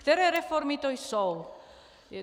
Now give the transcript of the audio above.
Které reformy to jsou.